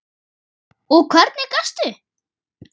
Og hvernig gastu?